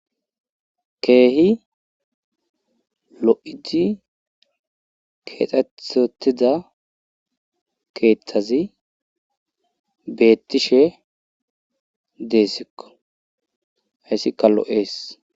keehi lo7idi keexxethotida keeththazi beettishe deessikko hayssikka lo7ees